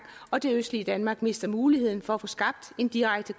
og det østlige danmark mister muligheden for at få skabt en direkte